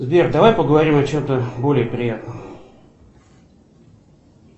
сбер давай поговорим о чем то более приятном